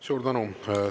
Suur tänu!